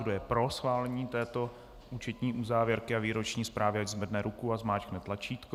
Kdo je pro schválení této účetní uzávěrky a výroční zprávy, ať zvedne ruku a zmáčkne tlačítko.